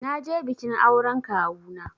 Na je bikin auren Kawuna